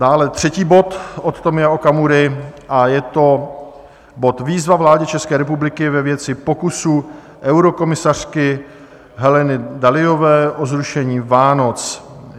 Dále třetí bod od Tomia Okamury a je to bod Výzva vládě České republiky ve věci pokusu eurokomisařky Heleny Dalliové o zrušení Vánoc.